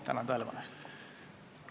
Tänan tähelepanu eest!